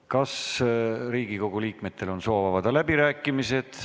Kas Riigikogu liikmetel on soovi avada läbirääkimisi?